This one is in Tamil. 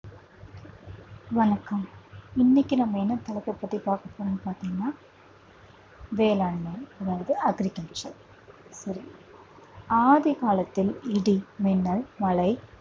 வணக்கம் இன்னைக்கு நம்ம என்ன தளத்தை பத்தி பாக்க போறோம்னு பாத்தீங்கன்னா வேளாண்மை வந்து agriculture ஆதிகாலத்தில் இடி மின்னல் மழை